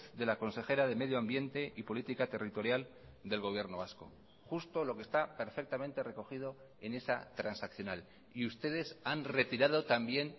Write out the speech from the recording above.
de la consejera de medio ambiente y política territorial del gobierno vasco justo lo que está perfectamente recogido en esa transaccional y ustedes han retirado también